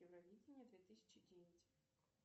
евровидение две тысячи девять